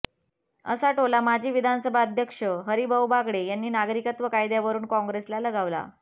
असा टोला माजी विधानसभा अध्यक्ष हरिभाऊ बागडे यांनी नागरिकत्व कायद्यावरून कॉंग्रेसला लगावला